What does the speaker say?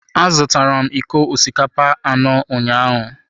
Azụtara m iko osikapa anọ ụnyaahụ.